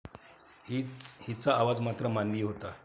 हिचा आवाज मात्र मानवी होता.